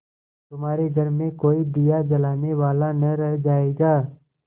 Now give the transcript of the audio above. तुम्हारे घर में कोई दिया जलाने वाला न रह जायगा